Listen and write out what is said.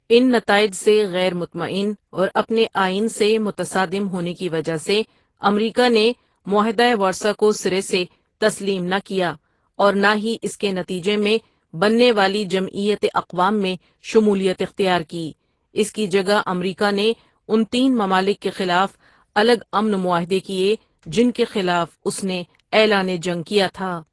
ان نتائج سے غیر مطمئن اور اپنے آئین سے متصادم ہونے کی وجہ سے امریکا نے معاہدہ ورسائے کو سرے سے تسلیم نہ کیا اور نہ ہی اس کے نتیجے میں بننے والی جمعیت اقوام میں شمولیت اختیار کی اس کی جگہ امریکا نے ان تین ممالک کے خلاف الگ امن معاہدے کیے جن کے خلاف اس نے اعلان جنگ کیا تھا ۔